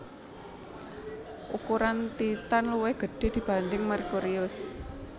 Ukuran Titan luwih gede dibanding Merkurius